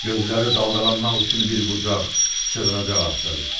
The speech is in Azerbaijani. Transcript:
Gözləri daldalanmaq üçün bir bucaq, sığınacaq axtarır.